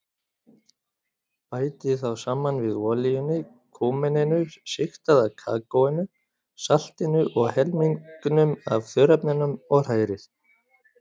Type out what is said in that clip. Bætið þá saman við olíunni, kúmeninu, sigtaða kakóinu, saltinu og helmingnum af þurrefnunum og hrærið.